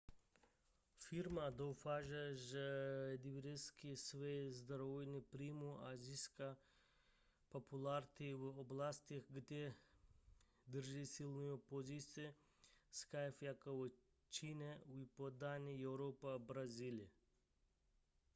firma doufá že diverzifikuje své zdroje příjmů a získá popularitu v oblastech kde drží silnou pozici skype jako je čína východní evropa a brazílie